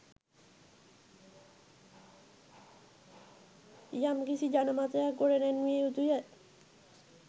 යමිකිසි ජන මතයක් ගොඩ නැන්විය යුතුය